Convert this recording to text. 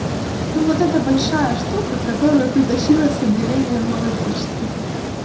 ну вот это большая штука которую ты тащила с отделения новой почты